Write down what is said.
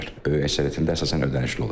Böyük əksəriyyətində əsasən ödənişli olur.